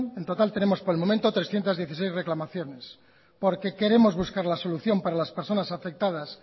en total tenemos por el momento trescientos dieciséis reclamaciones porque queremos buscar la solución para las personas afectadas